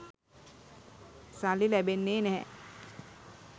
සල්ලි ලැබෙන්නේ නැහැ.